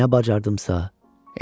Nə bacardımsa elədim.